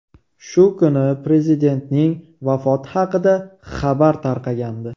Shu kuni prezidentning vafoti haqida xabar tarqagandi.